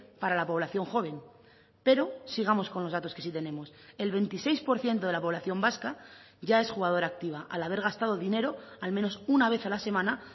para la población joven pero sigamos con los datos que sí tenemos el veintiséis por ciento de la población vasca ya es jugadora activa al haber gastado dinero al menos una vez a la semana